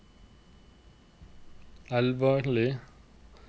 Elvarli